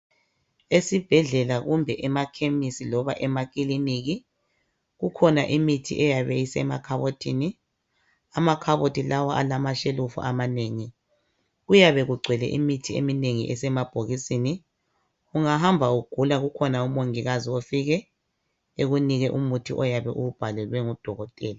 Esibhedlela loba emakhemesti loba emakiliniki kukhona imithi eyabe isemakhabothini , amakhabothi lawa alama shelufu amanengi kuyabe kugcwele imithi eminengi esemabokisini. Ungahamba ugula kukhona umongikazi ofike ekunike umuthi oyabe uwubhalelawe ngodokotela.